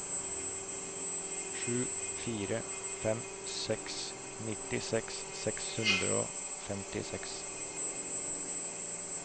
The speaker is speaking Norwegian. sju fire fem seks nittiseks seks hundre og femtiseks